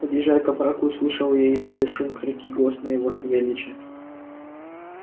подъезжая к оврагу услышал я издали шум крики и голос моего савельича